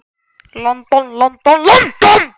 London, London, London.